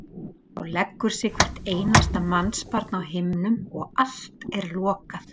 Þá leggur sig hvert einasta mannsbarn á himnum og allt er lokað.